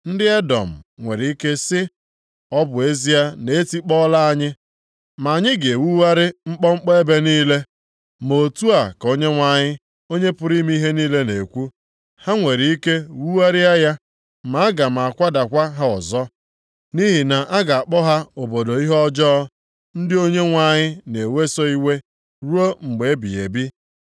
Ndị Edọm nwere ike sị, “Ọ bụ ezie na e tikpọọla anyị, ma anyị ga-ewugharị nkpọnkpọ ebe niile.” Ma otu a ka Onyenwe anyị, Onye pụrụ ime ihe niile, na-ekwu, “Ha nwere ike wugharịa ya, ma aga m akwadakwa ha ọzọ. Nʼihi na a ga-akpọ ha Obodo ihe ọjọọ, ndị Onyenwe anyị na-eweso iwe ruo mgbe ebighị ebi.